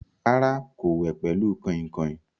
Rárá, kò wẹ̀ pẹ̀lú kàìnkàìn.